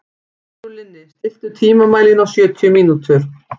Sigurlinni, stilltu tímamælinn á sjötíu mínútur.